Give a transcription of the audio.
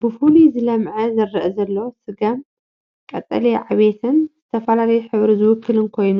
ብፍሉይ ዝለመዐ ዝረአ ዘሎ ስገም ቀጠልያ ዕብየትን ዝተፈላለየ ሕብሪ ዝውክል ኮይኑ፡